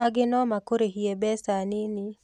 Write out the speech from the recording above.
Angĩ no makũrĩhie mbeca nini.